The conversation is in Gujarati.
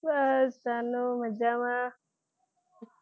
બસ જાનું મજામાં